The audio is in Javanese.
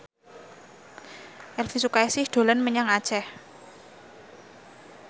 Elvi Sukaesih dolan menyang Aceh